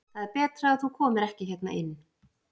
Það er betra að þú komir ekki hérna inn.